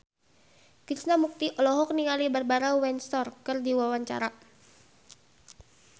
Krishna Mukti olohok ningali Barbara Windsor keur diwawancara